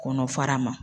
Kɔnɔ fara ma